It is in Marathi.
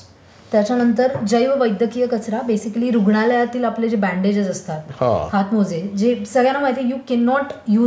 त्याच्यानंतर जैव वैद्यकीय कचरा बेसिकली रुग्णालयातले आपले जे बँडेजेस असतात हातमोजे, जे सगळ्यांना माहित आहे you can not use it again for obvious reason